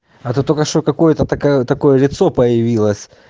а то только что какое-то такая такое лицо появилось